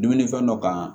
Dumuni fɛn dɔ kan